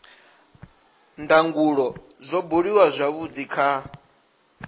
ndangulo zwo buliwa zwavhudi kha